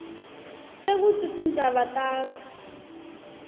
sekutsi tindzaba takho